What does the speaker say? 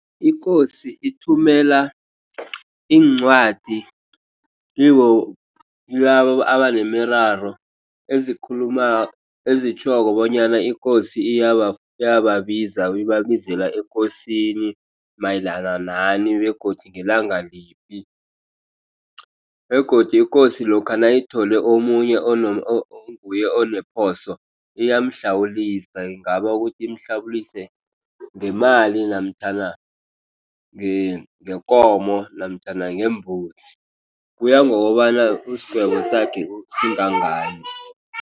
Ikosi ithumela iincwadi kibo, kilabo abanemiraro ezikhulumako, ezitjhoko bonyana ikosi iyababiza. Ibabizela ekosini mayelana nani begodu ngelanga liphi. Begodu ikosi lokha nayithole omunye onguye oneposo, iyamhlawulisa. Ingaba ukuthi imhlawulise ngemali namtjhana ngekomo namtjhana ngembuzi. Kuya ngokobana isigwebo sakhe singangani.